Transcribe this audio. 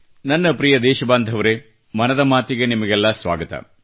ನನ್ನ ಪ್ರಿಯ ದೇಶಬಾಂಧವರೆ ಮನದ ಮಾತಿಗೆ ನಿಮಗೆಲ್ಲ ಸ್ವಾಗತ